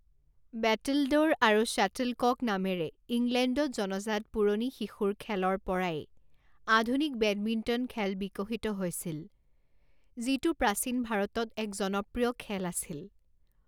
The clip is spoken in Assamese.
বেটলড'ৰ আৰু শ্বাটলকক নামেৰে ইংলেণ্ডত জনাজাত পুৰণি শিশুৰ খেলৰ পৰাই আধুনিক বেডমিণ্টন খেল বিকশিত হৈছিল, যিটো প্ৰাচীন ভাৰতত এক জনপ্ৰিয় খেল আছিল।